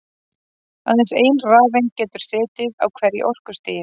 Aðeins ein rafeind getur setið á hverju orkustigi.